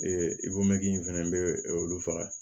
Ee in fɛnɛ bɛ olu faga